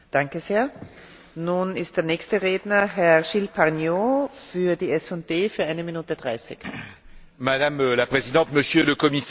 Madame la Présidente, Monsieur le Commissaire, nous avons affaire, je crois, à un des plus grands scandales en matière sanitaire et économique.